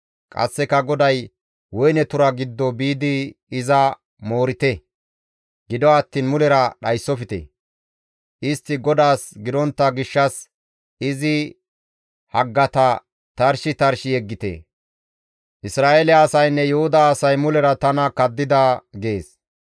Qasseka GODAY, «Woyne tura giddo biidi iza moorite; gido attiin mulera dhayssofte. Istti GODAAS gidontta gishshas izi haggata tarshi tarshi yeggite; Isra7eele asaynne Yuhuda asay mulera tana kaddida» gees.